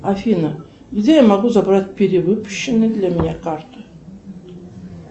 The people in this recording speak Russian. афина где я могу забрать перевыпущенную для меня карту